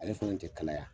Ale fana tɛ kalaya